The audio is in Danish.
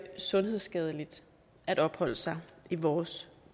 sundhedsskadeligt at opholde sig i vores